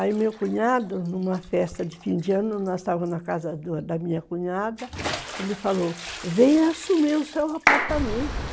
Aí meu cunhado, numa festa de fim de ano, nós estávamos na casa da minha cunhada, ele falou, venha assumir o seu apartamento.